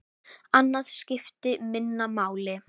Annað skipti minna máli.